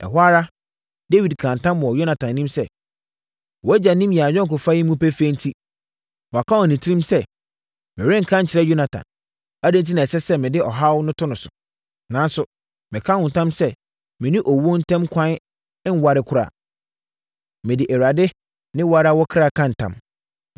Ɛhɔ ara, Dawid kaa ntam wɔ Yonatan anim sɛ, “Wʼagya nim yɛn ayɔnkofa yi mu pefee enti, waka wɔ ne tirim sɛ, ‘Merenka nkyerɛ Yonatan. Adɛn enti na ɛsɛ sɛ mede ɔhaw to no so?’ Nanso, meka wo ntam sɛ, mene owuo ntam kwan nware koraa! Mede Awurade ne wo ara wo ɔkra ka ntam!”